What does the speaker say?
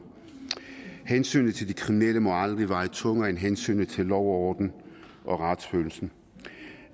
hensynet til de kriminelle må aldrig veje tungere end hensynet til lov og orden og retsfølelsen